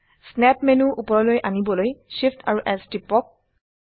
snap menu উপৰলৈ আনিবলৈ Shift amp S টিপক